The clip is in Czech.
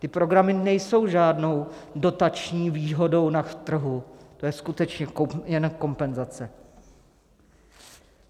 Ty programy nejsou žádnou dotační výhodou na trhu, to je skutečně jen kompenzace.